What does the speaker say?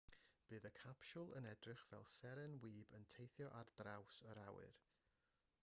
bydd y capsiwl yn edrych fel seren wib yn teithio ar draws yr awyr